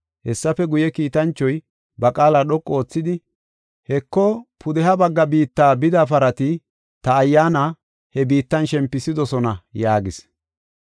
Hessafe guye, kiitanchoy ba qaala dhoqu oothidi, “Heko, pudeha bagga biitta bida parati ta Ayyaana he biittan shempisidosona” yaagis.